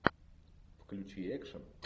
включи экшн